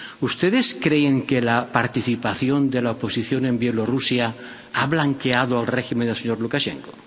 ¿Ustedes creen que la participación de la oposición en Bielorrusia ha blanqueado al régimen del señor Lukashenko?